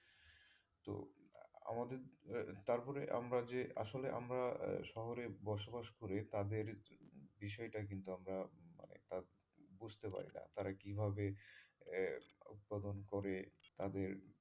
আমাদের তার ফলে আমরা যে আসলে আমরা শহরে বসবাস করে তাদের বিষয়টা কিন্তু আমরা বুঝতে পারিনা তারা কীভাবে আহ উৎপাদন করে তাদের,